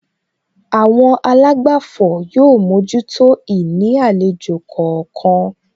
Àwọn àlágbàfọ̀ yóò mójútó ìní àlejò kọ̀ọ̀kan